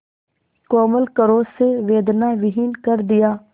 कोमल करों से वेदनाविहीन कर दिया